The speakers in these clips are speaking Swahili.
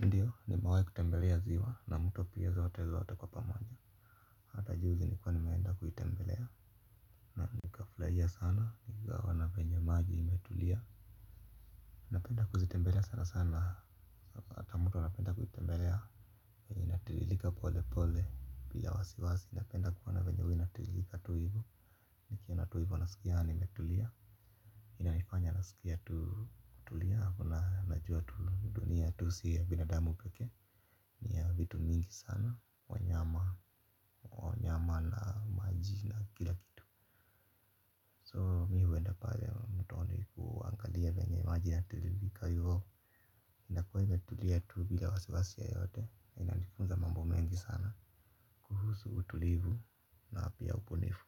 Ndiyo nimewahi kutembelea ziwa na mto pia zote zote kwa pamoja hata juzi nilikuwa nimeenda kuitembelea na nikaflshia sana nikiwa wanapenye maji imetulia napenda kuzitembelea sana sana hata mtu wanapenda kuhitembelea inatililika pole pole pila wasiwasi napenda kuona venye hu inatililika tu ivu nikiona tuivu nasikia nimetulia ina nifanya nasikia kutulia kuna najua tunia tusi ya binadamu pekee Nia vitu mingi sana, wanyama, wanyama na majina kila kitu So mi wenda pale mtoni kuangalia wenge majina tulilika yuho Nia kuwe metulia tu bila wasi wasi ya yote, inalikunza mambo mengi sana. Kuhusu utulivu na pia upunifu.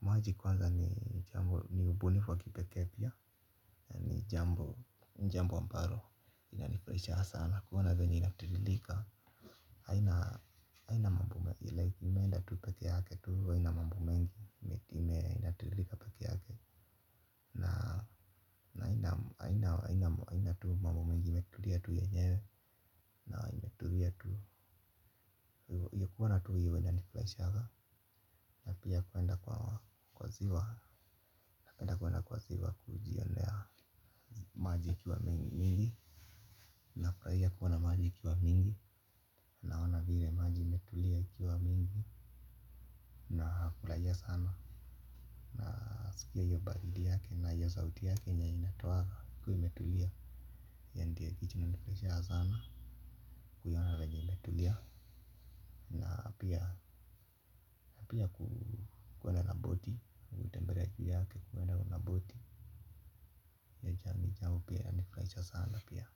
Maji kwanza ni upunifu wa kipekee pia jambo, njambo wamparo, inalikulichaha sana, kuona venye inatililika. Aina mambu mengi. Imeenda tupeke hake. Ina mambu mengi. Imeenda tulika peke hake. Na ina. Ina tu mambu mengi metulia tuye nyewe na imetulia tu inanifraishanga na pia napenda kuenda kwa ziwa kujionea maji ikiwa mingi nafraia maji ikiwa mingi. Naona vire maji imetulia kiwa mingi. Na kulajia sana. Na sikia iyo baridi yake na ya zauti yake nya inatoa kwa imetulia. Ya ndia kichinu nifraisha sana venye imetulia. Napia kuenda na boti. Mbelejia yake kuwenda naboti. Nijamu pia nifraisha sana pia.